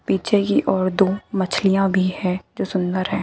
पीछे की ओर दो मछलियां भी है जो सुंदर है।